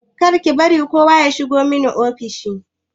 Kar ki bari kowa ya shigo mani ofis!